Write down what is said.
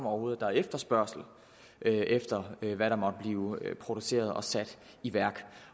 overhovedet er efterspørgsel efter hvad der måtte blive produceret og sat i værk